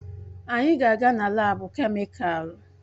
Anyị na-aga na laabu kemịkalụ?